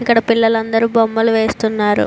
ఇక్కడ పిల్లలు అందరూ బొమ్మలు వేస్తున్నారు.